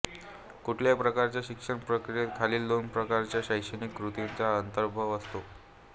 कुठल्याही प्रकारच्या शिक्षण प्रक्रियेत खालील दोन प्रकारच्या शैक्षणिक कृतींचा अंतर्भाव असतो